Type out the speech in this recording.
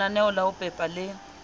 lenaneo la ho pepa le